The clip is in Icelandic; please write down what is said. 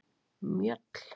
Mjöll